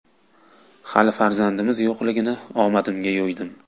Hali farzandimiz yo‘qligini omadimga yo‘ydim.